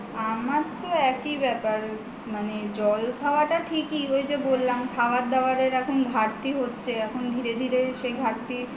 আমার তো একই ব্যাপার মানে জল খাওয়াটা ঠিকই ওই যে বললাম খাওয়ার দাওয়া এর ঘাটতি হচ্ছে এখন ধীরে ধীরে সেই ঘাটতি